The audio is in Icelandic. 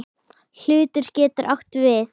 Hlutur getur átt við